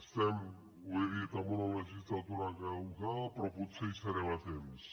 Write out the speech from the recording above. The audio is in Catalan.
estem ho he dit en una legislatura caducada però potser hi serem a temps